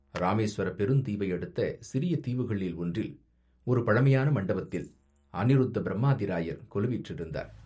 இராமேசுவரப் பெருந் தீவையடுத்த சிறிய தீவுகளில் ஒன்றில், ஒரு பழமையான மண்டபத்தில், அநிருத்தப் பிரம்மாதிராயர் கொலுவீற்றிருந்தார்.